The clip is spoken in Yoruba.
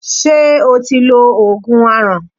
Ṣé o ti lo Ògùn aràn?